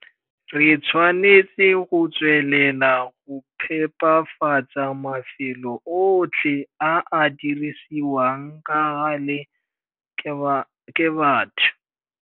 Re tshwanetse go tswelela go phepafatsa mafelo otlhe a a dirisiwang ka gale ke batho.